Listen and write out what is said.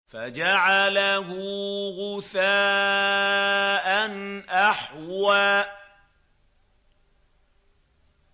فَجَعَلَهُ غُثَاءً أَحْوَىٰ